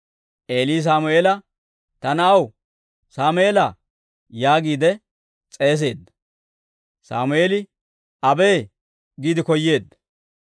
Eeli Sammeela, «Ta na'aw Sammeelaa» yaagiide s'eeseedda. Sammeeli, «abee» giide koyeedda.